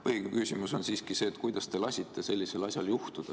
Põhiküsimus on siiski see, kuidas te lasite sellisel asjal juhtuda.